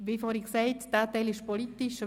Wie vorhin gesagt, ist dieser Teil politisch.